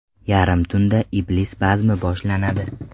Yarim tunda Iblis bazmi boshlanadi.